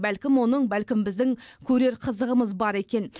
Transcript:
бәлкім оның бәлкім біздің көрер қызығымыз бар екен